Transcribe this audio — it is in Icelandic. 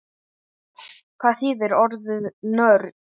Hvað þýðir orðið nörd?